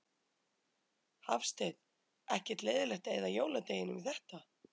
Hafsteinn: Ekkert leiðilegt að eyða jóladeginum í þetta?